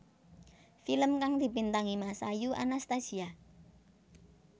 Film kang dibintangi Masayu Anastasia